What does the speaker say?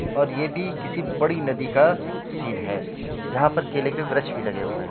और ये भी किसी बड़ी नदी का सीन है जहाँ पर केले के वरकक्ष भी लगे हुए है।